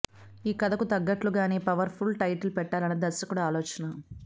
ఈ కథకు తగ్గట్లుగానే పవర్ ఫుల్ టైటిల్ పెట్టాలనేది దర్శకుడి ఆలోచన